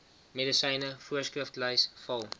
medisyne voorskriflys val